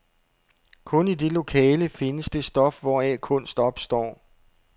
Kun i det lokale findes det stof, hvoraf kunst opstår.